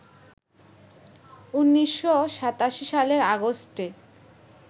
১৯৮৭ সালের আগস্টে